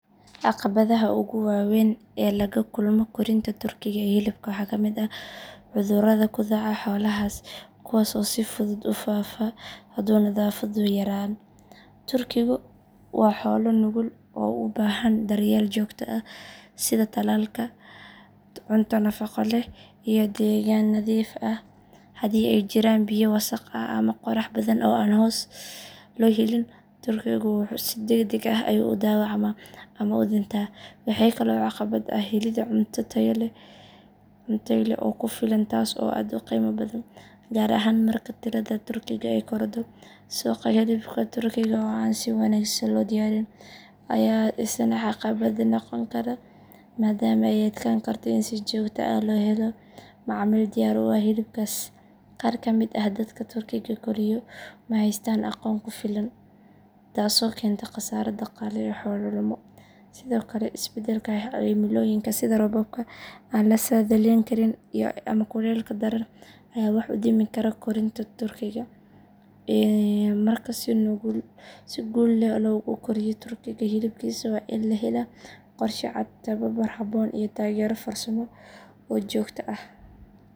Caqabadaha ugu waaweyn ee laga kulmo korinta turkiga ee hilibka waxaa ka mid ah cudurrada ku dhaca xoolahaas kuwaas oo si fudud u faafa hadduu nadaafaddu yaraan. Turkigu waa xoolo nugul oo u baahan daryeel joogto ah sida tallaalka, cunto nafaqo leh iyo deegaan nadiif ah. Haddii ay jiraan biyo wasakh ah ama qorrax badan oo aan hoos loo helin, turkigu si degdeg ah ayuu u dhaawacmaa ama u dhintaa. Waxaa kale oo caqabad ah helidda cunto tayo leh oo ku filan taas oo aad u qiimo badan, gaar ahaan marka tirada turkiga ay korodho. Suuqa hilibka turkiga oo aan si wanaagsan loo diyaarin ayaa isna caqabad noqon kara maadaama ay adkaan karto in si joogto ah loo helo macaamiil diyaar u ah hilibkaas. Qaar ka mid ah dadka turkiga koriyo ma haystaan aqoon ku filan, taasoo keenta khasaare dhaqaale iyo xoolo lumo. Sidoo kale, isbeddelka cimilooyinka sida roobabka aan la saadaalin karin ama kulaylka daran ayaa wax u dhimi kara korinta turkiga. Marka si guul leh loogu koriyo turkiga hilibkiisa, waa in la helaa qorshe cad, tababar habboon, iyo taageero farsamo oo joogto ah.